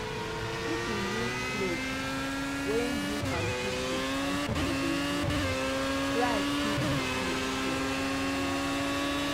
if you use place wey you and pipo and pipo de use try keep di place clean